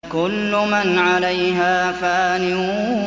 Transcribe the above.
كُلُّ مَنْ عَلَيْهَا فَانٍ